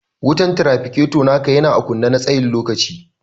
Wutan trafficator naka yana ã kunne na tsayin lokaci.